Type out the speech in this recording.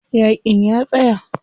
Yaƙin ya tsaya.